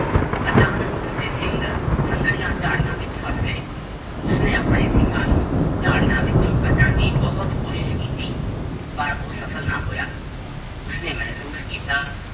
ਅਚਾਨਕ ਉਸਦੇ ਸਿੰਘ ਸੰਘਣੀਆਂ ਝਾੜੀਆਂ ਵਿੱਚ ਫਸ ਗਏ, ਉਸਨੇ ਆਪਣੇ ਸਿੰਗਾਂ ਨੂੰ ਝਾੜੀਆਂ ਵਿੱਚੋਂ ਕੱਢਣ ਦੀ ਬਹੁਤ ਕੋਸ਼ਿਸ਼ ਕੀਤੀ ਪਰ ਉਹ ਸਫ਼ਲ ਨਾ ਹੋਇਆ, ਉਸਨੇ ਮਹਿਸੂਸ ਕੀਤਾ